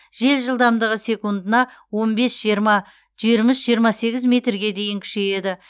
жел жылдамдығы секундына он бес жиырма жиырма үш жиырма сегіз метрге дейін күшейеді